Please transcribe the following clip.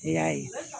E y'a ye